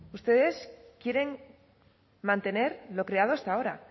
ustedes quieren mantener lo creado hasta ahora